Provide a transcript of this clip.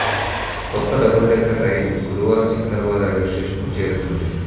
కొత్త double decker రైలు గురువారం సికింద్రాబాద్ రైల్వే స్టేషన్కు చేరుకుంది